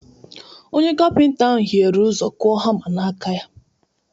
Onye kapịnta ahụ hiere ụzọ kụọ hama n’aka ya